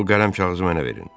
O qələm kağızı mənə verin.